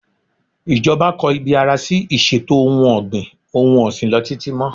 Ìjọba kò ibi ara sí iṣetò ohun-ọ̀gbìn-òhun-ọ̀sìn lọ títí mọ́.